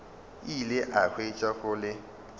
ile a hwetša go le